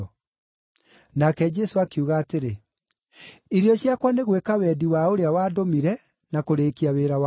Nake Jesũ akiuga atĩrĩ, “Irio ciakwa nĩ gwĩka wendi wa ũrĩa wandũmire na kũrĩĩkia wĩra wake.